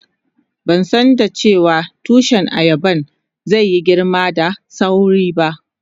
Ban san dace wa tushi ayaban zai yi girma da sawri ba.